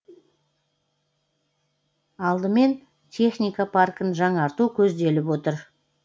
алдымен техника паркін жаңарту көзделіп отыр